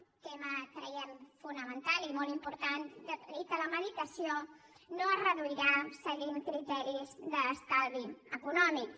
tema ho creiem fonamental i molt important i que la medicació no es reduirà seguint criteris d’estalvi econòmic